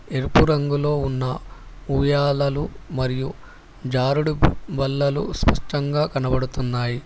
ఎరుపు రంగులో ఉన్న ఉయ్యాలలు మరియు జారుడు బల్లలు స్పష్టంగా కనబడుతున్నాయి.